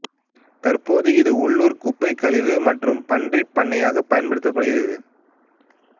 தற்போது இது உள்ளூர் குப்பைக் கழிவு மற்றும் பன்றி பண்ணையாக பயன்படுத்தப்படுகிறது